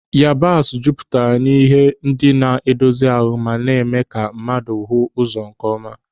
Yabasị jupụtara n'ihe ndị na-edozi ahụ ma mee ka mmadụ hụ ụzọ nkeọma.